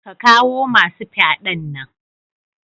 Ka kawo masu fyaɗan nan.